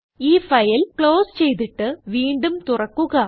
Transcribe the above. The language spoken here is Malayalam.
ഈ ഫയൽ ക്ലോസ് ചെയ്തിട്ട് വീണ്ടും തുറക്കുക